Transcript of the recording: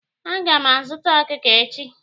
Aga m azuta ọkụkọ echi.